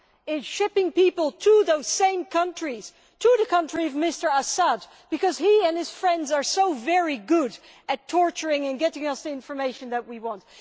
in shipping people to those same countries to the country of Mr Assad because he and his friends are so very good at torturing and getting us the information that we want.